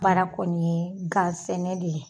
Baara kɔni ye ga sɛnɛ de ye